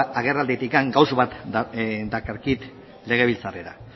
agerralditik gauza bat dakarkit legebiltzarrera